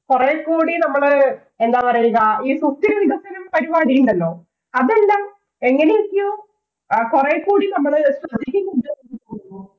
കൊറേ കൂടി നമ്മള് എന്താ പറയ്ക. ഈ സുസ്ഥിര വികസനം പരിപാടിയുണ്ടല്ലോ? അതെല്ലാം എങ്ങനെയൊക്കെയോ കൊറേകൂടി നമ്മള്